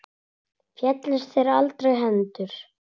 Féllust þér aldrei hendur?